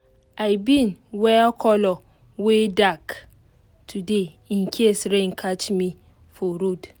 i bin wear colour wey dark today in case rain catch me for road